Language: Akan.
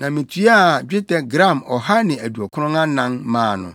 na mituaa dwetɛ gram ɔha ne aduɔkron anan (194) maa no.